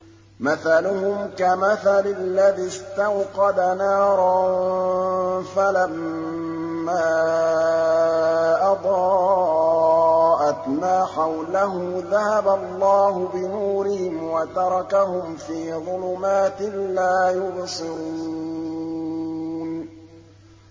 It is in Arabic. مَثَلُهُمْ كَمَثَلِ الَّذِي اسْتَوْقَدَ نَارًا فَلَمَّا أَضَاءَتْ مَا حَوْلَهُ ذَهَبَ اللَّهُ بِنُورِهِمْ وَتَرَكَهُمْ فِي ظُلُمَاتٍ لَّا يُبْصِرُونَ